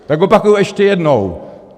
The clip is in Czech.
Tak opakuji ještě jednou!